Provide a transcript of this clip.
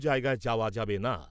জায়গায় যাওয়া যাবে না।